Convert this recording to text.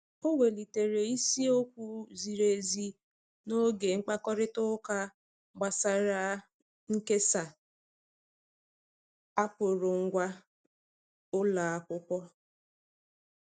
O welitere isi okwu ziri ezi n'oge mkpakorịta ụka gbasara nkesa akụrụngwa ụlọ akwụkwọ.